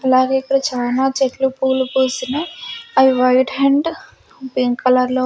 అలాగే ఇక్కడ చానా చెట్లు పూలు పూస్తున్నాయ్ అవి వైట్ అండ్ పింక్ కలర్లో --